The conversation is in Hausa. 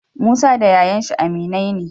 Musa da yayan shi aminai ne